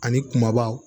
Ani kumaba